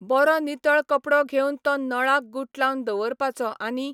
बरो नितळ कपडो घेवन तो नळाक गुटलावन दवरपाचो आनी